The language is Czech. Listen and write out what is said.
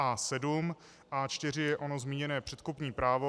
A4 je ono zmíněné předkupní právo.